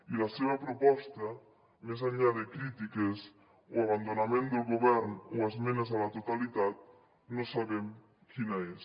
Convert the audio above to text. i la seva proposta més enllà de crítiques o abandonament del govern o esmenes a la totalitat no sabem quina és